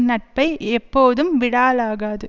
நட்பை எப்போதும் விடாலாகாது